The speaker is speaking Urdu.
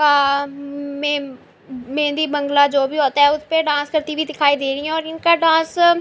آ م مہندی بنگلہ جو بھی آتا ہے اسپے ڈانس کرتی ہوئی دکھائی دے رہی ہے اور انکا ڈانس --